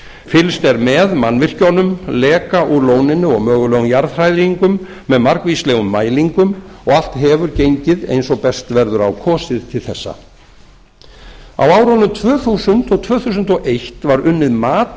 fylgst er með mannvirkjunum leka úr lóninu og mögulegum jarðhræringum með margvíslegum mælingum og allt hefur gengið eins og best verður á kosið til þessa á árunum tvö þúsund til tvö þúsund og eitt var unnið umhverfismat